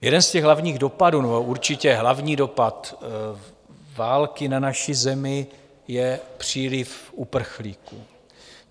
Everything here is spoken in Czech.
Jeden z těch hlavních dopadů, nebo určitě hlavní dopad války na naši zemi je příliv uprchlíků.